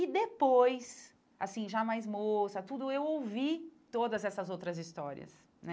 E depois, assim, já mais moça, tudo, eu ouvi todas essas outras histórias, né?